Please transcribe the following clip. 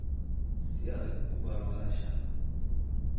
Si adag u baro walaasha